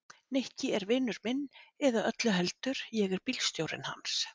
Nikki er vinur minn eða öllu heldur, ég er bílstjórinn hans.